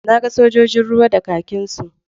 Na ga sojojin ruwa da kakinsu.